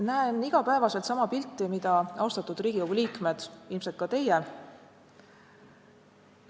Näen iga päev sama pilti, mida, austatud Riigikogu liikmed, ilmselt ka teie.